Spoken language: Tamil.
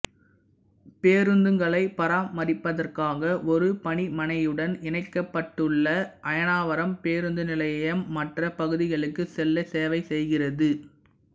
பேருந்துகளை பராமரிப்பதற்காக ஒரு பணிமனையுடன் இணைக்கப்பட்டுள்ள அயனாவரம் பேருந்து நிலையம் மற்ற பகுதிகளுக்கு செல்ல சேவை செய்கிறது